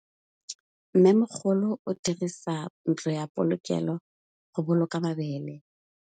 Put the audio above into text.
Mmêmogolô o dirisa ntlo ya polokêlô, go boloka mabele.